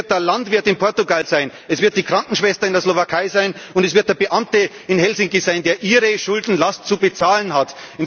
Es wird der Landwirt in Portugal sein, es wird die Krankenschwester in der Slowakei sein, und es wird der Beamte in Helsinki sein, der Ihre Schuldenlast zu bezahlen hat.